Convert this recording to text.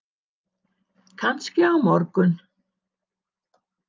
Kannski á morgun.